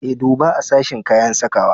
E, duba a sashen kayan sakawa.